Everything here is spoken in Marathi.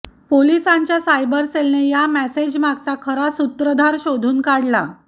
पोलिसांच्या सायबर सेलने या मेसेजमागचा खरा सूत्रधार शोधून काढला